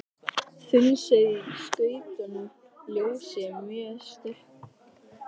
Þunnsneið í skautuðu ljósi mjög stækkuð.